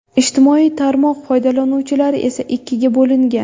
Ijtimoiy tarmoq foydalanuvchilari esa ikkiga bo‘lingan.